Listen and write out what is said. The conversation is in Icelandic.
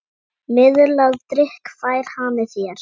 Miðlað drykk fær hani þér.